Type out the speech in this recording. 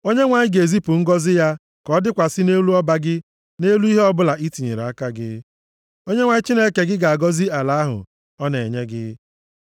Onyenwe anyị ga-ezipụ ngọzị ya ka ọ dịkwasị nʼelu ọba gị na nʼelu ihe ọbụla i tinyere aka gị. Onyenwe anyị Chineke gị ga-agọzi gị nʼala ahụ ọ na-enye gị.